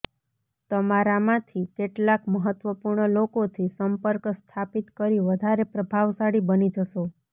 તમારા માંથી કેટલાક મહત્વપૂર્ણ લોકો થી સંપર્ક સ્થાપિત કરી વધારે પ્રભાવશાળી બની જશો